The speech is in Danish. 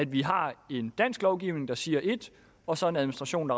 vi har en dansk lovgivning der siger et og så en administration